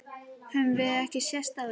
Höfum við ekki sést áður?